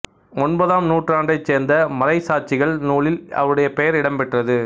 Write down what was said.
ஒன்பதாம் நூற்றாண்டைச் சேர்ந்த மறைச்சாட்சிகள் நூலில் அவருடைய பெயர் இடம்பெற்றது